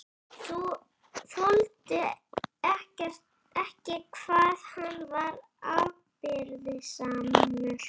Þoldi ekki hvað hann var afbrýðisamur.